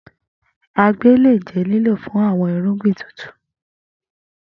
Agbe le jẹ lilo fun awọn irugbin tutu.